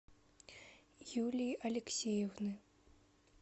юлии алексеевны